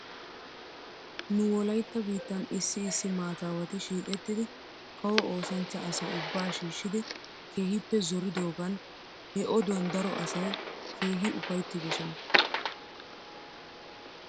Nu wolaytta biittan issi issi maataawati shiiqettidi kaw oosanchcha asaa ubbaa shiishshidi keehippe zoridoogan he oduwan daro asay keehi ufayttdosona.